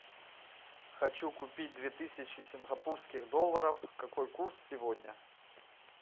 хочу купить две тысячи сингапурских долларов какой курс сегодня